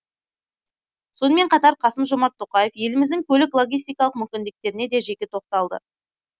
сонымен қатар қасым жомарт тоқаев еліміздің көлік логистикалық мүмкіндіктеріне де жеке тоқталды